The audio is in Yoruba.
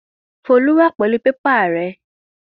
Folú wà pẹlu pépà rẹ.